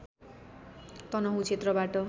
तनहुँ क्षेत्रबाट